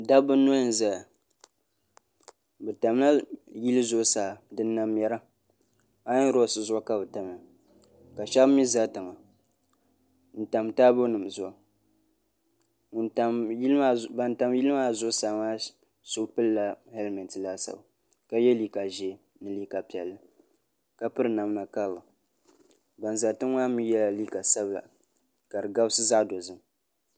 dabba noli n mɛra bi tamla yili zuɣusaa din na mɛra aayon roks zuɣu ka bi tamya ka shab mii ʒɛ tiŋa n tam taabo nim zuɣu ban tam yili maa zuɣusaa maa so pilila hɛlmɛnti laasabu ka yɛ liiga ʒiɛ ni liiga piɛlli ka piri namda kawu ban ʒɛ tiŋ maa mii yɛla liiga sabila ka di gabisi zaɣ dozim